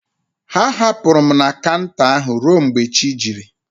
Ha hapụrụ m na kanta ahụ ruo mgbe chi jiri